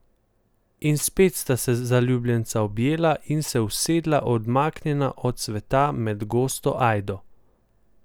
In spet sta se zaljubljenca objela in se usedla odmaknjena od sveta med gosto ajdo.